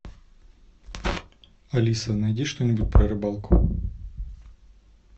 алиса найди что нибудь про рыбалку